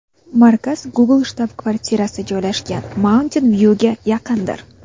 Markaz Google shtab-kvartirasi joylashgan Mauntin-Vyuga yaqindir.